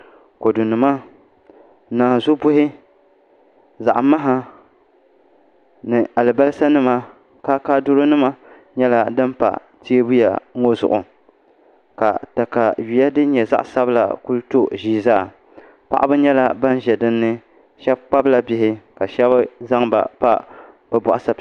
Kodu nima naanzu buhi zaɣ maha ni alibarisa nima kaakaadiro nim nyɛla din pa teebuya ŋo zuɣu ka katawiya din nyɛ zaɣ sabila ku to ʒii zaa paɣaba nyɛla bin ʒɛ dinni shab kpabla bihi ka shab zaŋba pa bi boɣa sapima zuɣu